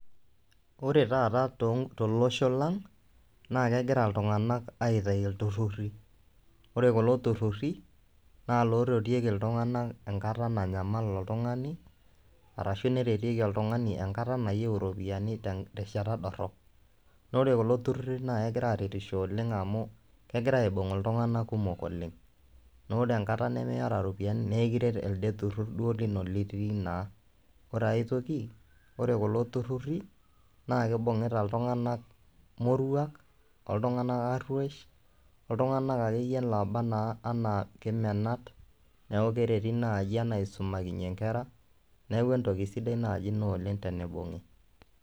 Ore taata tonk tolosho laang' naake egira iltung'anak aitayu ilturruri, ore kulo turruri naa loretieki iltung'anak enkata nanyamal oltung'ani arashu neretieki oltung'ani enkata nayeu iropiani tenk terishata dorop. Naa ore kulo turruri naake egira aaretisho oleng' amu kegira aibung'iltung'anak kumok oleng' naa ore enkata nemiata iropiani naa kiret elde turrur duo lino litii naa. Ore ai toki ore kulo turruri naake ibung'ita iltung'anak moruak, ooltung'anak aruesh oltung'anak akeyie laaba naa ena kemenat. Neeku kereti naai enaa aisumakinye nkera, neeku entoki sidai naaji ina oleng' tenibung'i.